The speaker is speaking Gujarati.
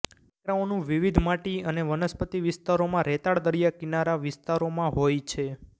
ટેકરાઓનું વિવિધ માટી અને વનસ્પતિ વિસ્તારોમાં રેતાળ દરિયાકિનારા વિસ્તારોમાં હોય છે